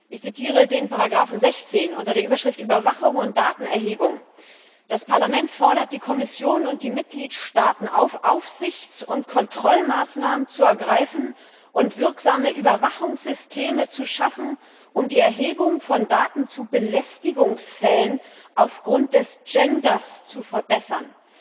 Ich zitiere die Ziffer 16, unter der Überschrift Überwachung und Datenerhebung Das Parlament fordert die Kommission und die Mitgliedstaaten auf, Aufsichts und Kontrollmaßnahmen zu ergreifen und wirksame Überwachungssysteme zu schaffen, um die Erhebung von Daten zu Belästigungsfällen aufgrund des Geschlechts zu verbessern